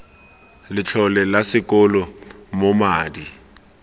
letlole la sekolo moo madi